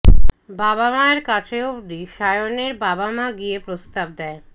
বাবা মায়ের কাছে অবধি সায়নের বাবা মা গিয়ে প্রস্তাব দেয়